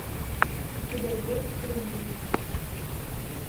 у тебя есть приют